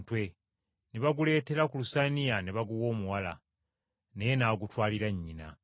ne baguleetera ku lusaniya ne baguwa omuwala, naye n’agutwalira nnyina.